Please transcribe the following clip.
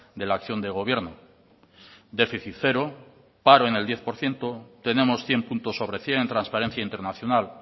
de la acción de gobierno déficit cero paro en el diez por ciento tenemos cien puntos sobre cien en transparencia internacional